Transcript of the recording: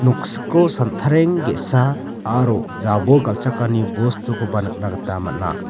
noksiko santareng ge·sa aro jabol galchakani bostukoba nikna gita man·a.